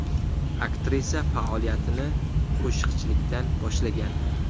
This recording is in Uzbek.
Aktrisa faoliyatini qo‘shiqchilikdan boshlagan.